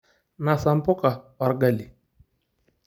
Nasa mpuka orgali.